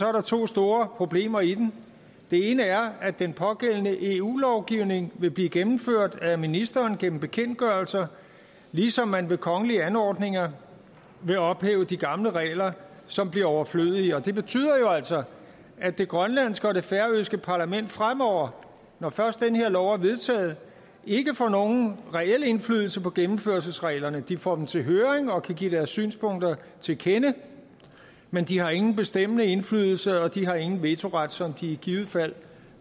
er der to store problemer i den det ene er at den pågældende eu lovgivning vil blive gennemført af ministeren gennem bekendtgørelser ligesom man ved kongelige anordninger vil ophæve de gamle regler som bliver overflødige det betyder jo altså at det grønlandske og det færøske parlament fremover når først den her lov er vedtaget ikke får nogen reel indflydelse på gennemførelsesreglerne de får dem til høring og kan give deres synspunkter til kende men de har ingen bestemmende indflydelse og de har ingen vetoret som de i givet fald